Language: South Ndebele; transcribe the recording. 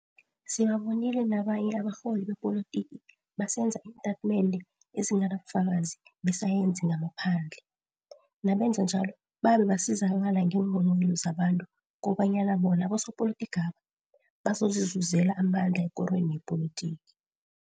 Sibabonile nabanye abarholi bepolitiki basenza iintatimende ezinganabufakazi besayensi ngamaphandle, nabenza njalo babe basizakala ngeenghonghoyilo zabantu kobanyana bona abosopolitikaba bazozizuzela amandla ekorweni yepolitiki.